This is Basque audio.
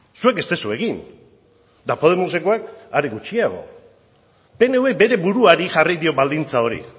zuek ez duzue egin eta podemosekoek are gutxiago pnvk bere buruari jarri dio baldintza hori